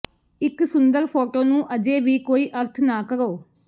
ਇੱਕ ਸੁੰਦਰ ਫੋਟੋ ਨੂੰ ਅਜੇ ਵੀ ਕੋਈ ਅਰਥ ਨਾ ਕਰੋ